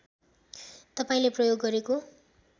तपाईँले प्रयोग गरेको